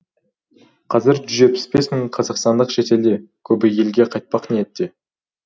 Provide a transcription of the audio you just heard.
қазір жүз жетпіс мың қазақстандық шетелде көбі елге қайтпақ ниетте